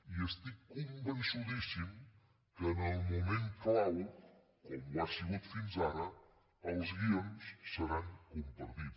i estic convençudíssim que en el moment clau com ho ha sigut fins ara els guions seran compartits